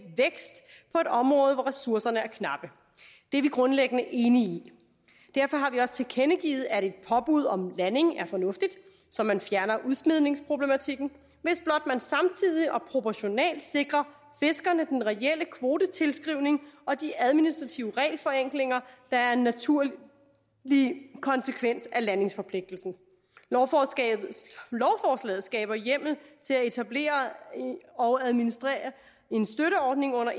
område hvor ressourcerne er knappe det er vi grundlæggende enige i derfor har vi også tilkendegivet at et påbud om landing er fornuftigt så man fjerner udsmidningsproblematikken hvis blot man samtidig og proportionalt sikrer fiskerne den relle kvotetilskrivning og de administrative regelforenklinger der er en naturlig konsekvens af landingsforpligtelsen lovforslaget skaber hjemmel til at etablere og administrere en støtteordning under